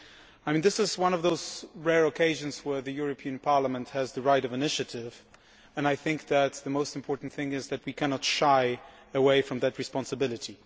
I mean, this is one of those rare occasions when the European Parliament has the right of initiative, and I think that the most important thing is that we cannot shy away from that responsibility.